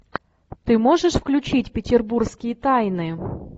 ты можешь включить петербургские тайны